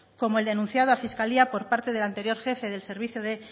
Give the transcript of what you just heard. como el denunciado a fiscalía por parte del anterior jefe del servicio de